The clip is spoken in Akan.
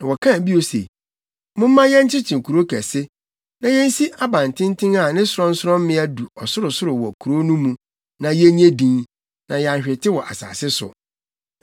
Na wɔkae bio se, “Momma yɛnkyekye kurow kɛse, na yensi abantenten a ne sorɔnsorɔmmea du ɔsorosoro wɔ kurow no mu, na yennye din, na yɛanhwete wɔ asase so.”